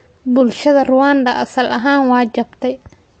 Bulshada Rwanda asal ahaan way jabtay.